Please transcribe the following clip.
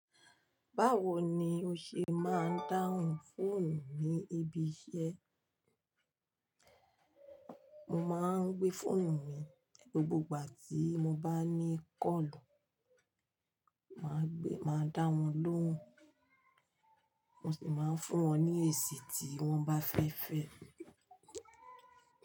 Báwo ni ó ṣe máa ń dáhùn fóònù ní ibi iṣẹ́? Mo máa ń gbé fóònù mi, gbogbo ìgbà tí mo bá ní kọ́lù. Máa gbé, máa dáhun lóhùn. Mo sì máa ń fún wọn ní èsì tí wọ́n bá fẹ́ fẹ́.